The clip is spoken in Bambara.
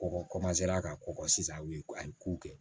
Kɔkɔ ka kɔgɔ sisan a bi ye ko a ye kow kɛ